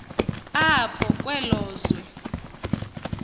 apho kwelo zwe